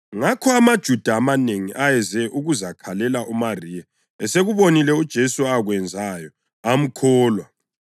Ngakho amaJuda amanengi ayeze ukuzakhalela uMariya esekubonile uJesu akwenzayo, amkholwa.